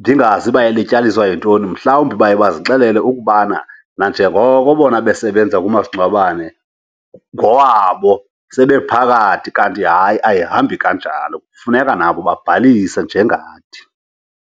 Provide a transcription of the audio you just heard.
ndingazi uba ilityaliswa yintoni. Mhlawumbi baye bazixelele ukubana nanjengoko bona besebenza kumasingcwabane ngowabo, sebephakathi. Kanti hayi, ayihambi kanjalo, kufuneka nabo babhalise njengathi.